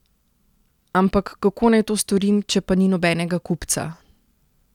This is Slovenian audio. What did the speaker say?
Ampak, kako naj to storim, če pa ni nobenega kupca?